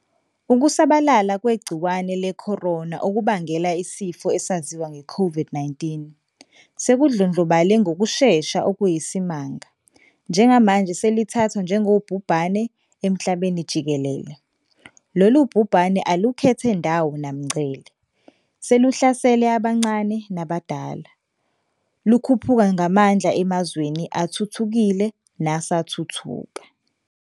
Ukusabalala kwegciwane le-corona, okubangela isifo esaziwa nge-COVID-19, sekudlondlobale ngokushesha okuyisimanga, njengamanje selithathwa njengobhubhane emhlabenijikelele. Lolu bhubhane alukhethe ndawo namngcele, seluhlasele abancane nabadala, lukhuphuka ngamandla emazweni athuthukile nasathuthuka.